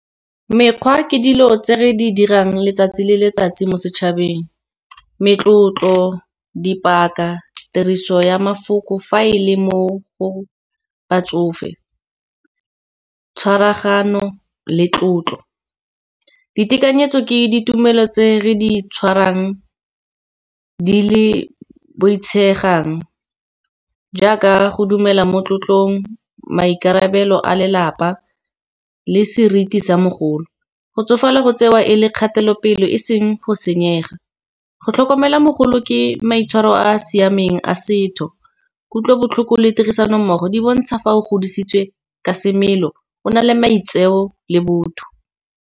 Mekgwa ke dilo tse re di dirang letsatsi le letsatsi mo setšhabeng, metlotlo di paka, tiriso ya mafoko fa e le mo go batsofe, tshwaragano le tlotlo. Ditekanyetso ke ditumelo tse re di tshwarang di le boitshegang, jaaka go dumela mo tlotlong, maikarabelo a lelapa le seriti sa mogolo. Go tsofala go tsewa e le kgatelopele e seng go senyega, go tlhokomela mogolo ke maitshwaro a a siameng a setho, kutlobotlhoko le tirisano mmogo. Di bontsha fa o godisitswe ka semelo o na le maitseo le botho.